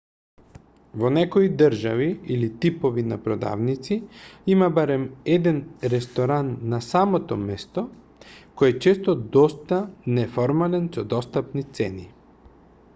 во некои држави или типови на продавници има барем еден ресторан на самото место кој е често доста неформален со достапни цени